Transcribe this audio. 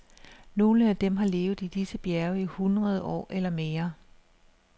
Nogle af dem har levet i disse bjerge i hundrede år eller mere.